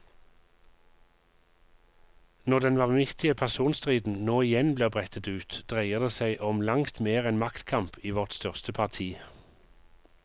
Når den vanvittige personstriden nå igjen blir brettet ut, dreier det som om langt mer enn maktkamp i vårt største parti.